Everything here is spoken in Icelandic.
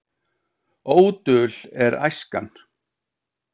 Ódul er æskan.